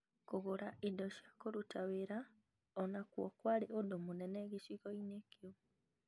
Kũgũra indo cia kũruta wĩra o nakuo kwarĩ ũndũ mũnene gĩcigo-inĩ kĩu.